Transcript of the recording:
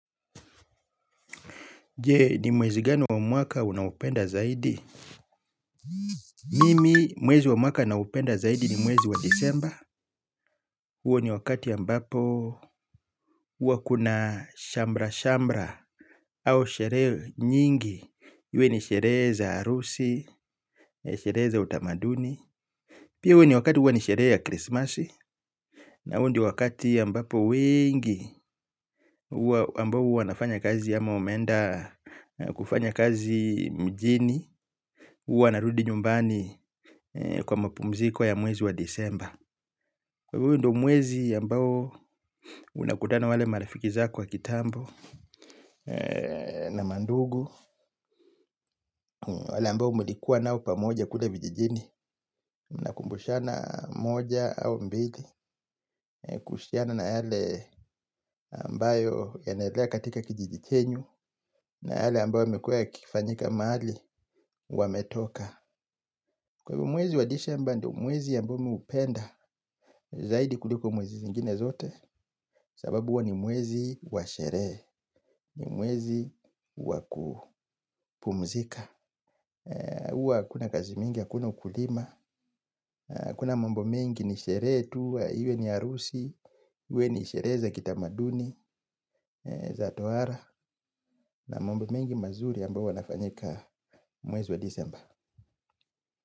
Je, ni mwezi gani wa mwaka unao upenda zaidi? Mimi, mwezi wa mwaka ninaopenda zaidi ni mwezi wa disemba. Huwa ni wakati ambapo, huwa kuna shamra-shamra au sherehe nyingi. Iwe ni sherehe za harusi, sherehe za utamaduni. Pia huwa ni wakati huwa ni sherehe ya krismasi. Na huo ndio wakati ambapo wengi, huwa ambao huwa wanafanya kazi ama wameenda kufanya kazi mjini. Huwa wanarudi nyumbani kwa mapumziko ya mwezi wa disemba. Kwa hivyo ndo mwezi ambao unakutana wale marafiki zako wa kitambo na mandugu. Wale ambao mulikuwa nao pamoja kule vijijini mnakumbushana moja au mbili. Kuhusiana na yale ambayo yanaendelea katika kijiji chenyu. Na yale ambayo yamekua yakifanyika mahali wametoka. Kwa hivyo mwezi wa disemba ndo mwezi ambao mi hupenda zaidi kuliko mwezi zingine zote. Sababu huwa ni mwezi wa sherehe. Ni mwezi wa kupumzika huwa hakuna kazi mingi hakuna ukulima hakuna mambo mingi ni sherehe tu. Iwe ni harusi iwe ni sherehe za kitamaduni za tohara. Na mambo mengi mazuri ambayo hufanyika mwezi wa disemba.